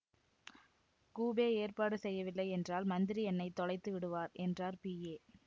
coupe ஏற்பாடு செய்யவில்லை என்றால் மந்திரி என்னை தொலைத்து விடுவார் என்றார் பிஏ